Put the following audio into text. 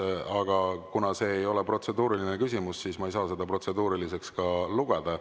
Aga kuna see ei ole protseduuriline küsimus, siis ma ei saa seda protseduuriliseks ka lugeda.